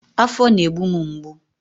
Afọ na-egbu m mgbu